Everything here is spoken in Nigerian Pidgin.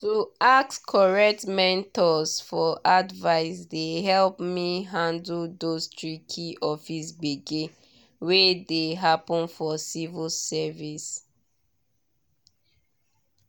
to ask correct mentors for advice dey help me handle those tricky office gbege wey dey happen for civil service.